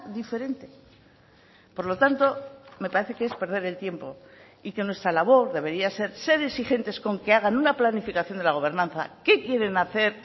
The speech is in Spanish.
diferente por lo tanto me parece que es perder el tiempo y que nuestra labor debería ser ser exigentes con que hagan una planificación de la gobernanza qué quieren hacer